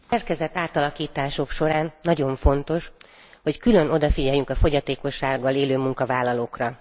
A szerkezetátalakítások során nagyon fontos, hogy külön odafigyeljünk a fogyatékossággal élő munkavállalókra.